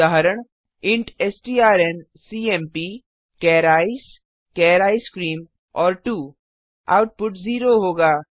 उदाहरण इंट strncmpचार ईसीई चार आइसक्रीम और 2 आउटपुट 0 होगा